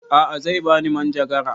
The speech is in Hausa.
A'a zai bani manjagara